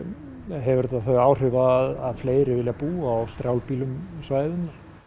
hefur þetta þau áhrif að fleiri vilja búa á strjálbýlum svæðum